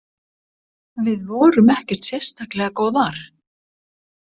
Við vorum ekkert sérstaklega góðar.